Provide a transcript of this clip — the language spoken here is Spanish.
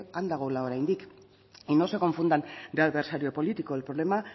han dagoela oraindik y no se confundan de adversario político el problema